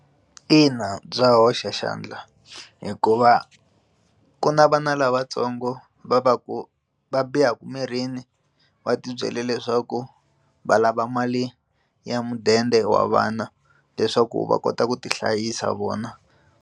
Ina, bya hoxa xandla hikuva ku na vana lavatsongo va va ku va bihaku mirini va tibyele leswaku va lava mali ya mudende wa vana leswaku va kota ku ti hlayisa vona.